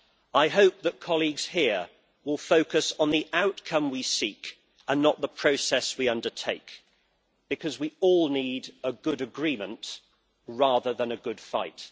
I hope that colleagues here will focus on the outcome we seek and not the process we undertake, because we all need a good agreement, rather than a good fight.